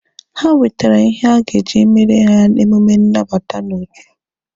Ha wetere ihe a ga-eji emere ha emume nnabata n'otu.